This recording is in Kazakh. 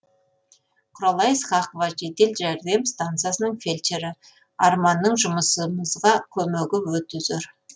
құралай ысқақова жедел жәрдем стансасының фельдшері арманның жұмысымызға көмегі өте зор